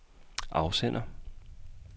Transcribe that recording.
afsender